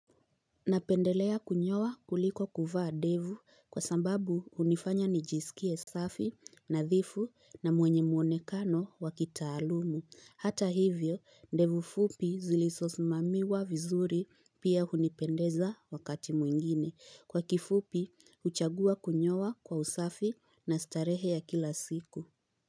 Napendelea kunyowa kuliko kuvaa devu, kwa sambabu unifanya nijisikie safi, na dhifu na mwenye mwonekano wakitaalumu. Hata hivyo, ndevu fupi zilisosmamiwa vizuri, pia unipendeza wakati mwingine. Kwa kifupi, uchagua kunyowa kwa usafi na starehe ya kila siku.